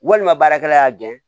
Walima baarakɛla y'a gɛn